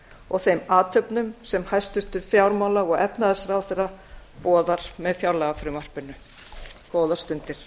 og þeim athöfnum sem hæstvirtur fjármála og efnahagsráðherra boðar með fjárlagafrumvarpinu góðar stundir